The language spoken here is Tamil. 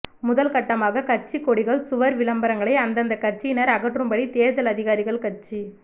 முதல் கட்டமாக கட்சிக் கொடிகள் சுவர் விளம்பரங்களை அந்தந்த கட்சியினர் அகற்றும்படி தேர்தல் அதிகாரிகள் கட்சி